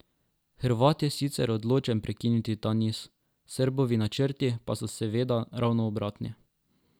Hrvat je sicer odločen prekiniti ta niz, Srbovi načrti pa so seveda ravno obratni.